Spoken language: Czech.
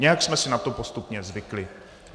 Nějak jsme si na to postupně zvykli.